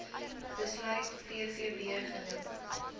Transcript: besluit vvb genoem